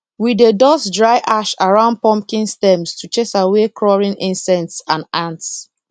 we dey dust dry ash around pumpkin stems to chase away crawling insects and ants